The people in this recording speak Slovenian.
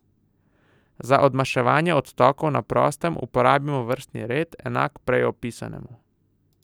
Za odmaševanje odtokov na prostem uporabimo vrstni red, enak prej opisanemu.